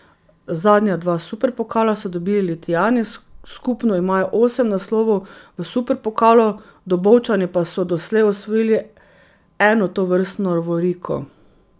Zadnja dva superpokala so dobili Litijani, skupno imajo osem naslovov v superpokalu, Dobovčani pa so doslej osvojili eno tovrstno lovoriko.